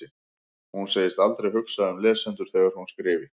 Hún segist aldrei hugsa um lesendur þegar hún skrifi.